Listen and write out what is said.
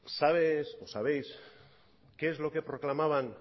sabes o sabéis qué es lo que proclamaban